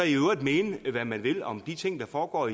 i øvrigt mene hvad man vil om de ting der foregår